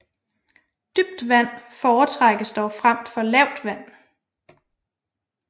Dybt vand foretrækkes dog frem for lavt vand